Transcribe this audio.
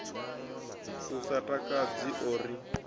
u sa takadzi o ri